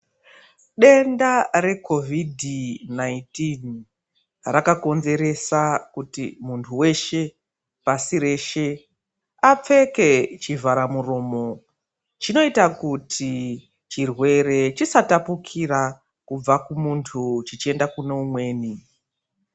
Denda reCOVID 19 rakakonzeresa kuti munthu weshe pashi reshe apfeke chivharamuromo chinoita kuti chirwere chisatapukira kubva kumunthu chechienda kune umweni.